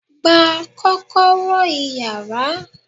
Gba kọ́kọ́rọ́ iyàrá!